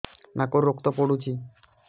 ନାକରୁ ରକ୍ତ ପଡୁଛି